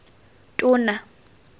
tona